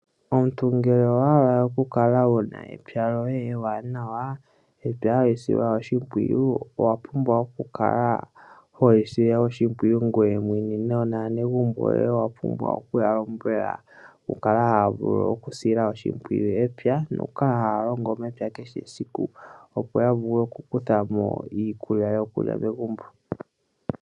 Omuntu ngele owa hala oku kala wu na epya lyoye ewanawa, epya hali silwa oshimpwiyu, owa pumbwa oku kala holi sile oshimpwiyu ngoye mwene nonaanegumbo yoye owa pumbwa okuya lombwela oku kala haya vulu okusila oshimpwiyu epya nokukala haya longo epya kehe esiku opo ya vule oku kutha mo iikulya yokulya megumbo.